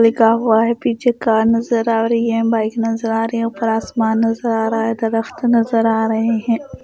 लिखा हुआ है पीछे कार नजर आ रही है बाइक नजर आ रही है ऊपर आसमान नजर आ रहा है दरख्त नजर आ रहे हैं।